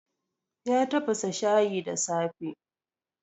Ya tafasa shayi da safe.